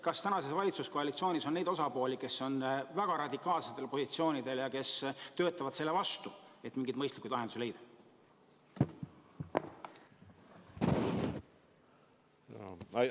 Kas tänases valitsuskoalitsioonis on neid osapooli, kes on väga radikaalsetel positsioonidel ja töötavad selle vastu, et mingeid mõistlikke lahendusi leida?